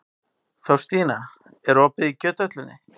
Þórstína, er opið í Kjöthöllinni?